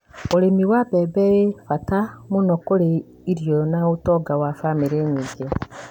ũrĩmi wa mbembe ĩ wa bata mũno kũrĩ irio na ũtonga wa bamĩrĩ nyingĩ,